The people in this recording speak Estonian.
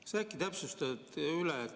Aga sa äkki täpsustad üle.